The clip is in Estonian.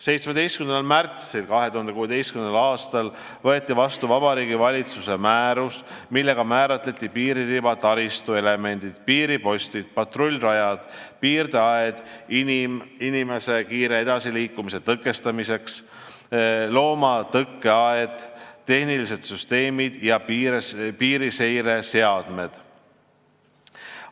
17. märtsil 2016. aastal anti Vabariigi Valitsuse määrus, millega määrati kindlaks piiririba taristu elemendid: piiripostid, patrullrajad, piirdeaed inimese kiire edasiliikumise tõkestamiseks, loomatõkkeaed, tehnilised süsteemid ja piiriseireseadmed.